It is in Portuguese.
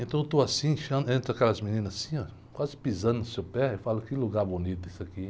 Então eu estou assim, entram aquelas meninas assim, óh, quase pisando no seu pé, eu falo, que lugar bonito isso aqui.